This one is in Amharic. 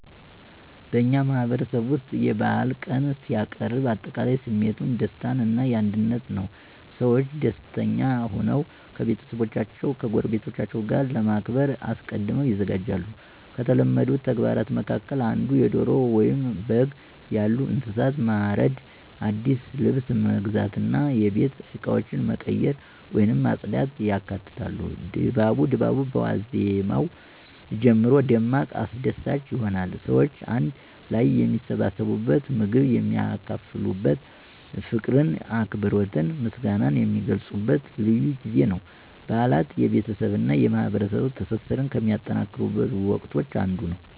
በእኛ ማህበረሰብ ውስጥ የበዓል ቀን ሲቃረብ አጠቃላይ ስሜቱ የደስታ እና የአንድነት ነው። ሰዎች ደስተኛ ሆነው ከቤተሰቦቻቸው እና ከጎረቤቶቻቸው ጋር ለማክበር አስቀድመው ይዘጋጃሉ። ከተለመዱት ተግባራት መካከል እንደ ዶሮ ወይም በግ ያሉ እንስሳትን ማረድ፣ አዲስ ልብስ መግዛት እና የቤት እቃዎችን መቀየር ወይም ማጽዳት ያካትታሉ። ድባቡ በዋዜማው ጀምሮ ደማቅ አስደሳች ይሆናል። ሰዎች አንድ ላይ የሚሰባሰቡበት፣ ምግብ የሚካፈሉበት፣ ፍቅርን፣ አክብሮትንና ምስጋናን የሚገልጹበት ልዩ ጊዜ ነው። በዓላት የቤተሰብ እና የማህበረሰብ ትስስርን ከሚጠናከሩበት ወቅቶች አንዱ ነው።